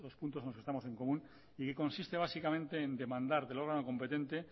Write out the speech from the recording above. nosotros juntos los que estamos en común y consiste básicamente en demandar del órgano competente